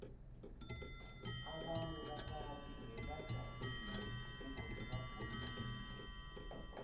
abantu bakade beba tjalile begodu bafuyile